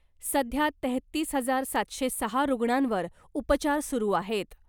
सध्या तेहतीस हजार सातशे सहा रुग्णांवर उपचार सुरू आहेत .